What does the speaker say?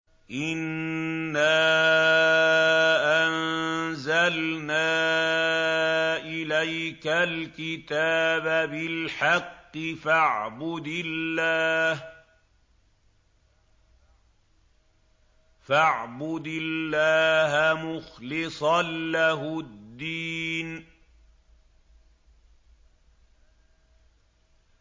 إِنَّا أَنزَلْنَا إِلَيْكَ الْكِتَابَ بِالْحَقِّ فَاعْبُدِ اللَّهَ مُخْلِصًا لَّهُ الدِّينَ